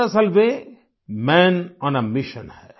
दरअसल वे man on a mission हैं